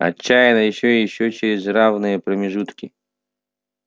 отчаянно ещё и ещё через равные промежутки